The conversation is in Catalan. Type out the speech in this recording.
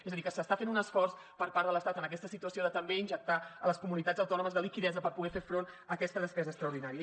és a dir que s’està fent un esforç per part de l’estat en aquesta situació de també injectar a les comunitats autònomes liquiditat per poder fer front a aquesta despesa extraordinària